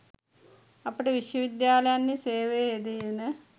අපට විශ්වවිද්‍යාලයන්හි සේවයේ යෙදෙන